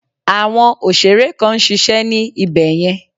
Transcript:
Àwọn òsèré kan nsisé ní ibẹ̀ yẹn